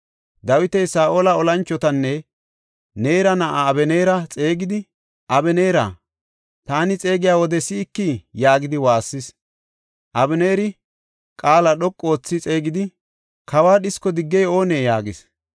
Dawiti Saa7ola olanchotanne Neera na7aa Abeneera xeegidi, “Abeneera, taani xeegiya wode si7ikii?” yaagidi waassis. Abeneeri, “Qaala dhoqu oothi xeegidi kawa dhisko diggey oonee?” yaagis.